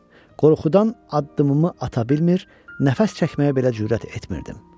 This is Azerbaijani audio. Qorxudan addımımı ata bilmir, nəfəs çəkməyə belə cürət etmirdim.